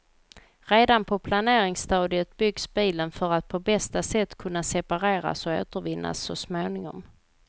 Redan på planeringsstadiet byggs bilen för att på bästa sätt kunna separeras och återvinnas så småningom.